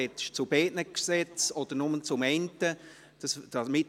«Sprechen Sie zu beiden Gesetzen oder nur zu einem?».